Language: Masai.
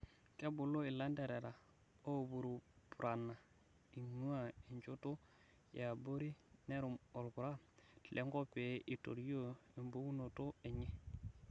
Kebuluu ilanterera oopurupurana eing'ua enchotoo yaabori neruuum olpura lenkop pee itorioo embukunoto enyee.